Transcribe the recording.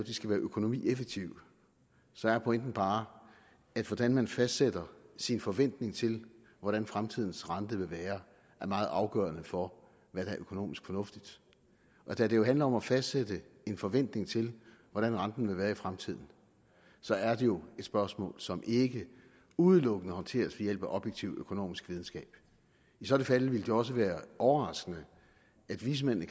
skal være økonomieffektive så er pointen bare at hvordan man fastsætter sin forventning til hvordan fremtidens rente vil være er meget afgørende for hvad der er økonomisk fornuftigt og da det jo handler om at fastsætte en forventning til hvordan renten vil være i fremtiden så er det jo et spørgsmål som ikke udelukkende håndteres ved hjælp af objektiv økonomisk videnskab i så fald ville det også være overraskende at vismændene